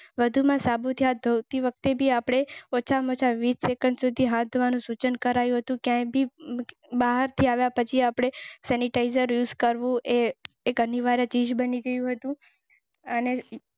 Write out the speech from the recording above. વધુમાં સાબુથી હાથ ધોતી વખતે ભી આપને ઓછા મચાવી સેકન્ડ સુધી હાથ ધોવાનું સૂચન કરાયું હતું. સેનિટાઈઝર્સ કરવો એ એક અનિવાર્ય ચીજ બની ગઈ.